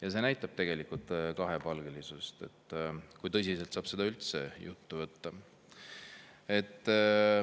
Ja see näitab tegelikult kahepalgelisust, seda, kui tõsiselt saab seda juttu üldse võtta.